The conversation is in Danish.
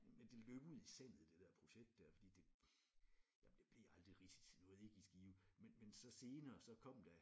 Men det løb ud i sandet det der projekt der fordi det jamen det blev aldrig rigtigt det er jo ikke i Skive men men så senere så kom der